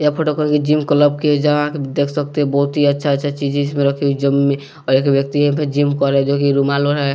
यह फोटो कही के जिम कलब के हे जहां क देख सकते है बौत ही अच्छा-अच्छा चीज इज पर रखी हुई जिम में और एक व्यक्ति यहां पे जिम कोर रहा है जो कि रूमालो है।